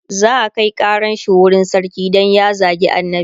za'a Kai ƙaran shi wurin sarki Dan ya zagi annabi